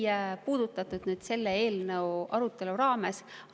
Seda küsimust ei puudutatud selle eelnõu arutelu raames.